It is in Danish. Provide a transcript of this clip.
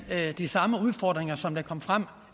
de samme udfordringer som kom frem